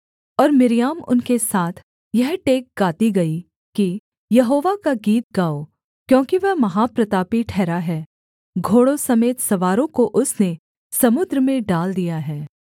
और मिर्याम उनके साथ यह टेक गाती गई कि यहोवा का गीत गाओ क्योंकि वह महाप्रतापी ठहरा है घोड़ों समेत सवारों को उसने समुद्र में डाल दिया है